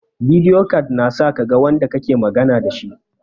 Bidiyo cat na sa kaga wanda kake magana dashi